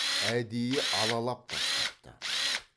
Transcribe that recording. әдейі алалап тастапты